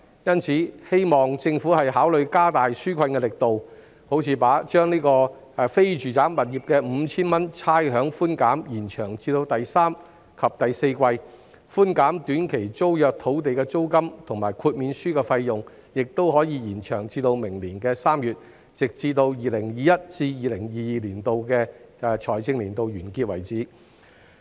因此，我希望政府考慮加大紓困力度，例如把非住宅物業的 5,000 元差餉寬減延長至第三季及第四季，寬減短期租約土地租金及豁免書費用的措施，亦可延長至明年3月，直至 2021-2022 財政年度結束為止。